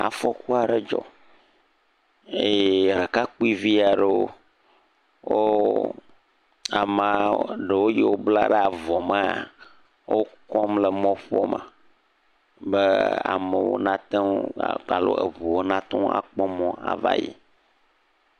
Afɔku aɖe dzɔ eye ɖekakpuivi aɖewo wò Amea ɖewo yiwo bla ɖe avɔ maa wokɔm le mɔƒoa me ne amewo nateŋu ava, be eʋuwo na kpɔ mɔ ava yi.